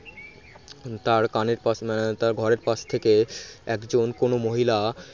তার কানের পাশে তার ঘরের পাশ থেকে একজন কোন মহিলা